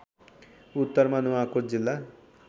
उत्तरमा नुवाकोट जिल्ला